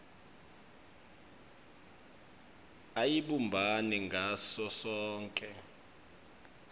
ayibumbani ngaso sonkhe